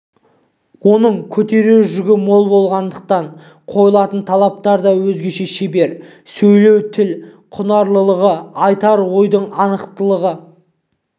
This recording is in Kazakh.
оның көтерер жүгі мол болғандықтан қойылатын талаптар да өзгеше шебер сөйлеу тіл құнарлылығы айтар ойдың анықтығы